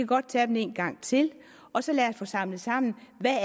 godt tage dem en gang til og så lad os få samlet sammen hvad